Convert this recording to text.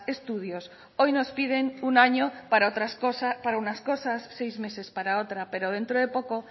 estudios hoy nos piden una año para otras cosas para unas cosas seis meses para otra pero dentro de poco